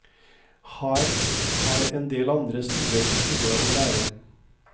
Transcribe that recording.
Her har endel andre stuer noe å lære.